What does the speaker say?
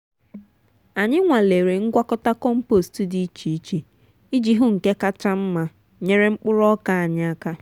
anyị nwalere ngwakọta compost dị iche iche iji hụ nke kacha mma nyere mkpụrụ ọka anyị aka.